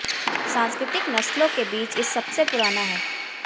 सांस्कृतिक नस्लों के बीच इस सबसे पुराना है